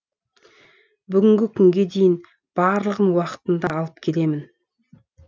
бүгінгі күнге дейін барлығын уақытында алып келемін